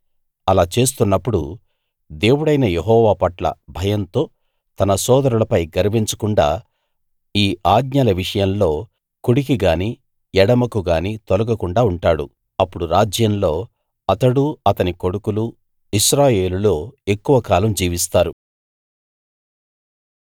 అలా చేస్తున్నప్పుడు దేవుడైన యెహోవా పట్ల భయంతో తన సోదరులపై గర్వించకుండా ఈ ఆజ్ఞల విషయంలో కుడికి గాని ఎడమకు గాని తొలగకుండా ఉంటాడు అప్పుడు రాజ్యంలో అతడూ అతని కొడుకులూ ఇశ్రాయేలులో ఎక్కువ కాలం జీవిస్తారు